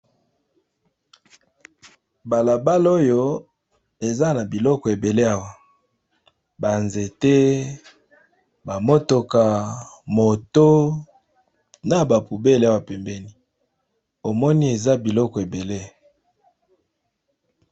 Bala. bala oyo eza na biloko ebele awa ba nzete, ba motuka, moto, na ba poubele awa pembeni omoni eza biloko ebele.